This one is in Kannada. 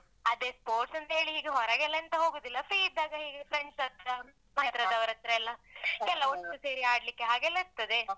ಅದೇ sport ಅಂತ ಹೇಳಿ ಈಗ ಹೊರಗೆಲ್ಲ ಎಂತ ಹೋಗುದಿಲ್ಲ free ಇದ್ದಾಗ ಹೀಗೆ friends ಹತ್ರ ಮನೆ ಹತ್ರದವರತ್ರ ಎಲ್ಲ ಎಲ್ಲ ಒಟ್ಟು ಸೇರಿ ಆಡ್ಲಿಕ್ಕೆ ಹಾಗೆಲ್ಲ ಇರ್ತದೆ.